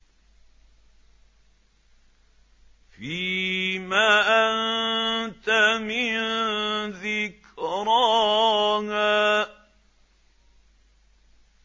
فِيمَ أَنتَ مِن ذِكْرَاهَا